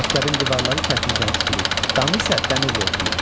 Məktəbin divarları kərpicdən tikilib, damı isə dəmirli örtülüb.